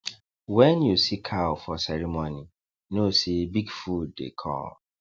when you see cow for ceremony know say big food dey come